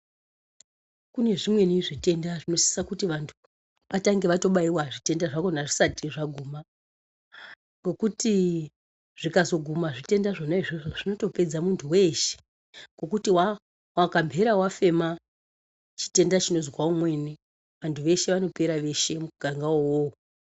Kune zvimweni zvitenda zvinosisa kuti vanthu vatange vabaiwa zvitenda zvakhona zvisati zvaguma ngokuti zvikqzoguma zvitenda zvona izvozvo zvinotopedza munthu weshe ngekuti wakambhera wafema chitenda chinozwa umweni vanthuvo vanopera veshe mungangawo uwowo.